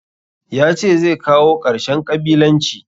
Ya ce zai kawo ƙarshen ƙabilanci.